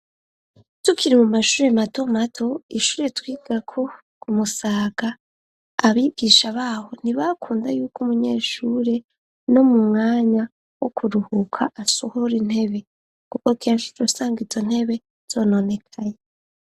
Tukiri mu mashuri mato mato ishuri twigako ku musaga ; abigisha babo ntibakunda yuko umunyeshure no mu mwanya wo kuruhuka asohora intebe kuko kenshi twosanga izo ntebe zononekaye.